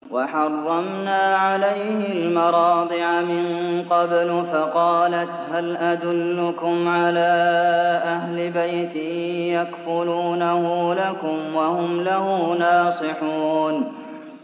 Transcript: ۞ وَحَرَّمْنَا عَلَيْهِ الْمَرَاضِعَ مِن قَبْلُ فَقَالَتْ هَلْ أَدُلُّكُمْ عَلَىٰ أَهْلِ بَيْتٍ يَكْفُلُونَهُ لَكُمْ وَهُمْ لَهُ نَاصِحُونَ